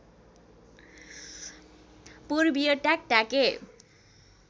पूर्वीय ट्याकट्याके